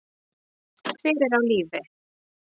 Hver er á lífi?